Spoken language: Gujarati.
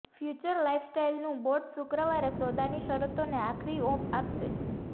ફ્યુચર લાઇફસ્ટાઇલનું બોર્ડ શુક્રવારે સોદાની શરતોને આખરી ઓપ આપશે